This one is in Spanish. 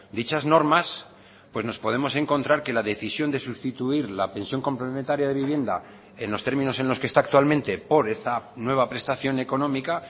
dichas normas pues nos podemos encontrar que la decisión de sustituir la pensión complementaria de vivienda en los términos en los que está actualmente por esta nueva prestación económica